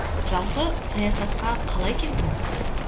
жалпы саясатқа қалай келдіңіз